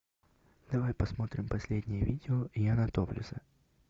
давай посмотрим последнее видео яна топлеса